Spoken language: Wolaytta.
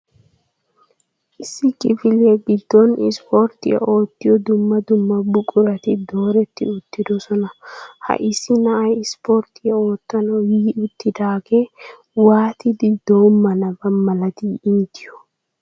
Isso kifiliya giddon ispportiya oottiyo dumma dumma buqurati dooreti uttidoosona. ha issi na'ay isporttiya oottanaw yi uttidaagee waattidi doomanaba malati inttiyo?